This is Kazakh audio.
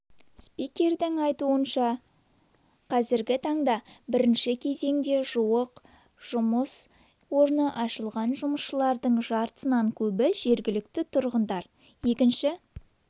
спикердің айтуынша қазіргі таңда бірінші кезеңде жуық жұмыс орны ашылған жұмысшылардың жартысынан көбі жергілікті тұрғындар екінші